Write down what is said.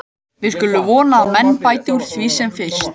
Við skulum vona að menn bæti úr því sem fyrst.